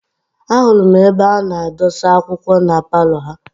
A hụrụ m ebe a na-adọsa akwụkwọ na paalọ ha.